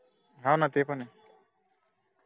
हा ना ते पण ए